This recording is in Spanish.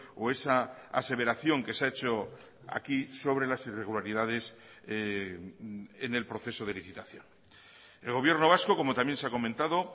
o esa aseveración que se ha hecho aquí sobre las irregularidades en el proceso de licitación el gobierno vasco como también se ha comentado